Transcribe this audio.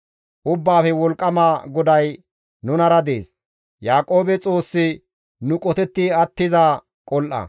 Ubbaafe wolqqama GODAY nunara dees; Yaaqoobe Xoossi nu qotetti attiza qol7a.